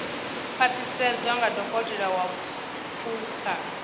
khwaṱhisedzwa nga dokotela wa phukha